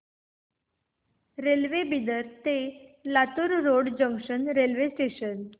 railway Bidar ते Latur road junction railway station